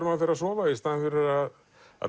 maður fer að sofa í staðinn fyrir að